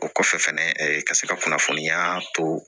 O kɔfɛ fɛnɛ ee ka se ka kunnafoniya to